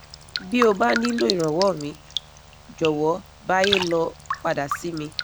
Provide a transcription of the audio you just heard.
bí o bá nílò ìrànwọ́ míì jòwọ́ báyé lọ padà sí mi